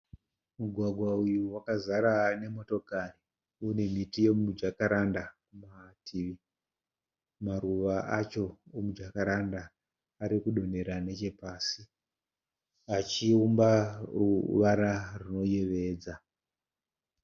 Mugwagwa uyu wakazara nemotokari, unemiti yemujakaranda mumativi, maruva acho emujakaranda arikudonhera nechepasi achivumba ruvara rwunoyevedza.